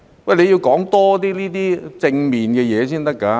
政府要多說這些正面的東西才是。